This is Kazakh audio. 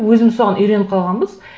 өзіміз соған үйреніп қалғанбыз